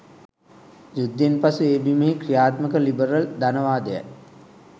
යුද්ධයෙන් පසු ඒ බිමෙහි කි්‍රයාත්මක ලිබරල් ධනවාදයයි.